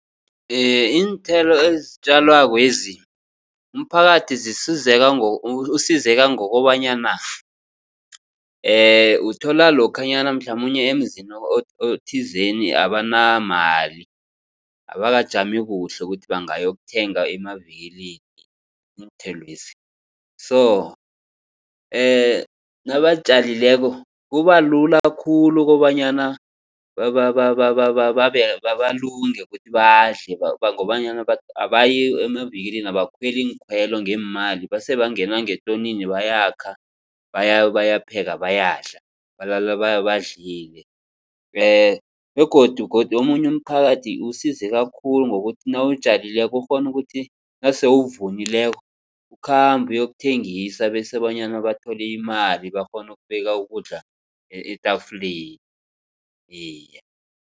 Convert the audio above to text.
Iinthelo ezitjalwakwezi umphakathi usizeka ngokobanyana uthola lokhanyana mhlamunye emzini othizini abanamali, abakajami kuhle ukuthi bangayokuthenga emavikilini iinthelwezi. So nabatjalileko kubalula khulu kobanyana balunge ukuthi badle. Ngobanyana abayi emavikilini, abakhweli iinkhwelo ngeemali basebangena ngetonini bayakha. bayapheka bayadla balala badlile. Begodu godu omunye umphakathi usizeka khulu ngokuthi nawutjalileko ukghona ukuthi nase uvunileko ukhambe yokuthengisa bese bonyana bathole imali bakghone ukubeka ukudla etafuleni iye.